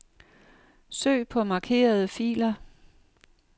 Søg på markerede filer.